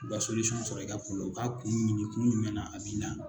U ka sɔrɔ i ka ku la, u k'a kun ɲini kun jumɛn na a bi na.